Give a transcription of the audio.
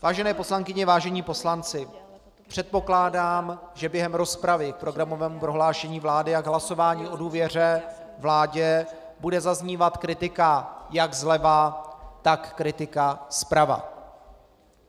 Vážené poslankyně, vážení poslanci, předpokládám, že během rozpravy k programovému prohlášení vlády a k hlasování o důvěře vládě bude zaznívat kritika jak zleva, tak kritika zprava.